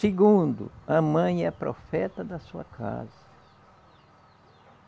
Segundo, a mãe é a profeta da sua casa.